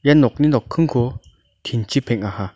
ia nokni nokkingko tin-chi peng·aha.